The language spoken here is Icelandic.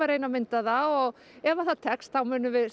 reyna að mynda það og ef það tekst þá munum við